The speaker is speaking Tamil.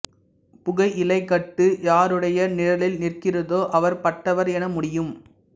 புகையிலைக்கட்டு யாருடைய நிழலில் நிற்கிறதோ அவர் பட்டவர் என முடியும்